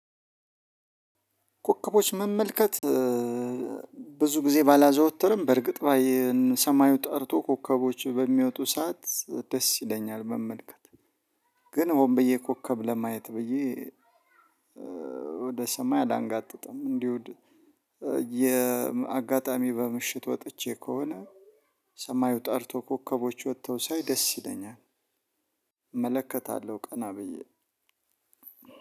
ኮከቦች መመልከት ብዙ ጊዜ ባላዘወትርም በእርግጥ ባይ ሰማዩ ጠርቶ ኮከቦች በሚወጡ ሰዓት ደስ ይለኛል መመልከት። ግን ሆምብዬ ኮከብ ለማየት ብዬ ወደ ሰማይ አላንጋጥጥም። እንዲሁ የ አጋጣሚ በ ምሽት ወጥቼ ከሆነ ሰማዩ ጠርቶ ኮከቦች ወተው ሳይ ደስ ይለኛል። እመለከታለሁ ቀና ብዬ